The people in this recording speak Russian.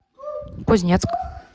кузнецк